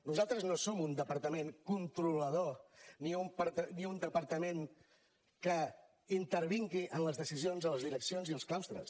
nosaltres no som un departament controlador ni un departament que intervingui en les decisions de les direccions i els claustres